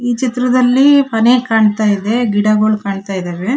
ಈ ಚಿತ್ರದಲ್ಲಿ ಮನೆ ಕಾಣತ್ತಾ ಇದೆ ಗಿಡಗಳು ಕಾಣ್ತ್ತಇದಾವೆ.